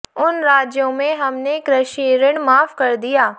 उन राज्यों में हमने कृषि ऋण माफ कर दिया